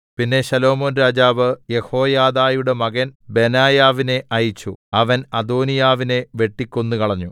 പിന്നെ ശലോമോൻ രാജാവ് യെഹോയാദയുടെ മകൻ ബെനായാവിനെ അയച്ചു അവൻ അദോനിയാവിനെ വെട്ടിക്കൊന്നുകളഞ്ഞു